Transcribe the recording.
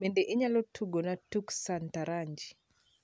bende inyalo tugona tuk sataranji